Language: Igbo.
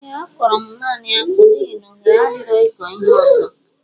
Ee a kọro mụ naanị akpụ n'ihi na oghere adirọ ịkọ ihe ọzọ